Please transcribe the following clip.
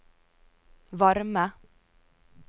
varme